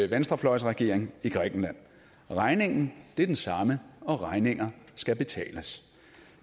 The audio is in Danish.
venstrefløjsregering i grækenland regningen er den samme og regninger skal betales